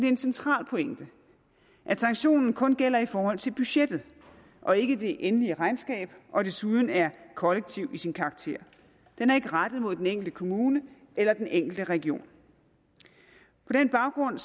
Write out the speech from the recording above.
en central pointe at sanktionen kun gælder i forhold til budgettet og ikke det endelige regnskab og desuden er kollektiv i sin karakter den er ikke rettet mod den enkelte kommune eller den enkelte region på den baggrund